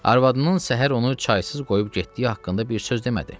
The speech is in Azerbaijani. Arvadının səhər onu çaysız qoyub getdiyi haqqında bir söz demədi.